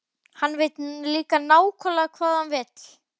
Hann veit líka nákvæmlega hvað hann vill.